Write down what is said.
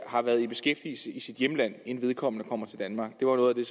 har været i beskæftigelse i sit hjemland inden vedkommende kommer til danmark det var noget af det